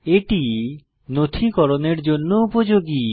এটি নথিকরণের জন্য উপযোগী